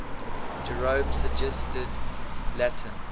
jerome's suggested latin